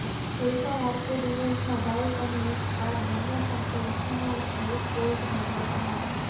કોઈપણ આર્કેડ ઇવેન્ટમાં બાઇક અને એક કાર બંને સાથે ઓછામાં ઓછા એક ગોલ્ડ મેડલ કમાવો